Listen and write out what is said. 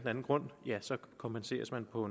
anden grund kompenseres man på